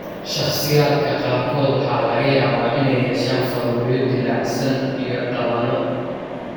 Shakhsiyaadka qaarkood waxa laga yaabaa inay yeeshaan faruuryo dillaacsan iyo/ama dhabanno.